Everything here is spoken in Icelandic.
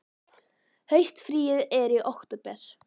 Haustfríið er í október.